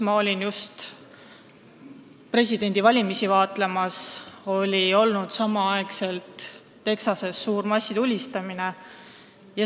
Ma olin just Ameerikas presidendivalimisi vaatlemas, kui Texases toimus massitulistamine.